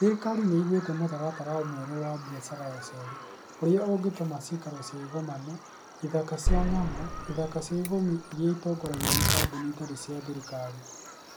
Thirikari nĩ ĩgwetire mũtaratara mwerũ wa biacara ya ũceeri. ũrĩa ũngĩtũma ciikaro cia igomano, ithaka cia nyamũ, na ithaka cia ũguĩmi itongoragio nĩ kambuni itarĩ cia thirikari.